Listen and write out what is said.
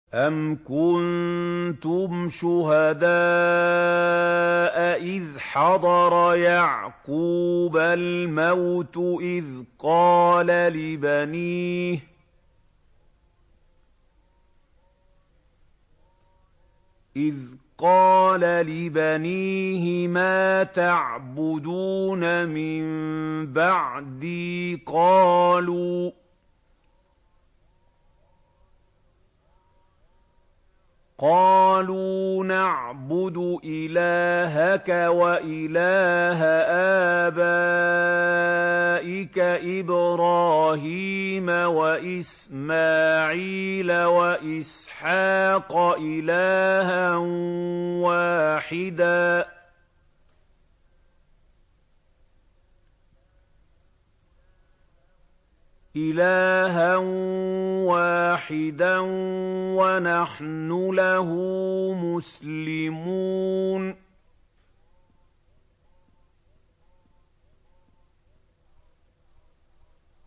أَمْ كُنتُمْ شُهَدَاءَ إِذْ حَضَرَ يَعْقُوبَ الْمَوْتُ إِذْ قَالَ لِبَنِيهِ مَا تَعْبُدُونَ مِن بَعْدِي قَالُوا نَعْبُدُ إِلَٰهَكَ وَإِلَٰهَ آبَائِكَ إِبْرَاهِيمَ وَإِسْمَاعِيلَ وَإِسْحَاقَ إِلَٰهًا وَاحِدًا وَنَحْنُ لَهُ مُسْلِمُونَ